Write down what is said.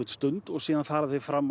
stund og síðan fara þau fram